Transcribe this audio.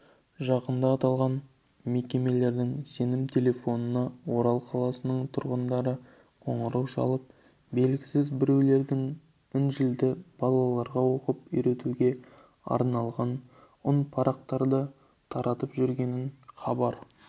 жақында аталған мекемелердің сенім телефонына орал қаласының тұрғындары қоңырау шалып белгісіз біреулердің інжілді балаларға оқытып үйретуге арналған үнпарақтарды таратып жүргенін хабарлаған